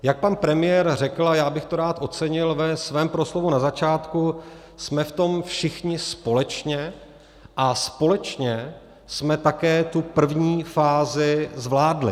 Jak pan premiér řekl, a já bych to rád ocenil, ve svém proslovu na začátku, jsme v tom všichni společně a společně jsme také tu první fázi zvládli.